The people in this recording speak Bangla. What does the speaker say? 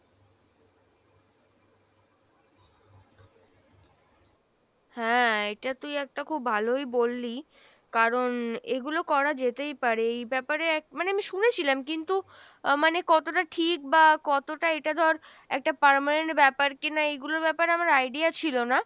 হ্যাঁ এইটা তুই একটা খুব ভালোই বললি কারণ এগুলো করা যেতেই পারে এই ব্যাপারে এক মানে আমি শুনেছিলাম কিন্তু আহ মানে কতটা ঠিক বা কতটা এটা ধর একটা permanent ব্যাপার কিনা এইগুলো ব্যাপারে আমার idea ছিলো না,